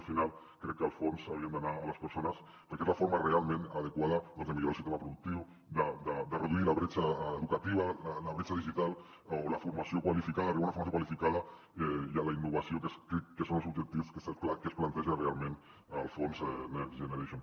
al final crec que els fons haurien d’anar a les persones perquè és la forma realment adequada doncs de millorar el sistema productiu de reduir la bretxa educativa la bretxa digital o d’arribar a la formació qualificada i a la innovació que són els objectius que es planteja realment el fons next generation